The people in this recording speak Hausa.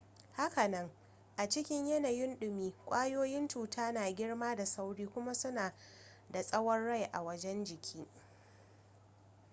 hakanan a cikin yanayin dumi kwayoyin cuta na girma da sauri kuma suna da tsawon rai a wajen jiki